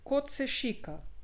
Kot se šika.